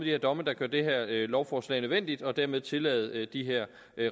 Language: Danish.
her domme der gør dette lovforslag nødvendigt og dermed tillader de her